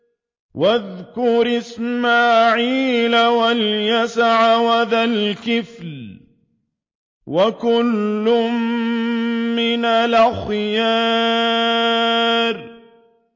وَاذْكُرْ إِسْمَاعِيلَ وَالْيَسَعَ وَذَا الْكِفْلِ ۖ وَكُلٌّ مِّنَ الْأَخْيَارِ